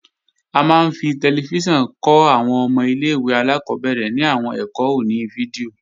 A máa ń fi tẹlifíṣàn kọ́ àwọn ọmọ ilé-ìwé alákọ́bẹ̀rẹ̀ ní àwọn ẹ̀kọ́ oní fídíò